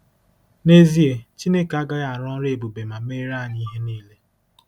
Nezie, Chineke agaghị arụ ọrụ ebube ma meere anyị ihe niile.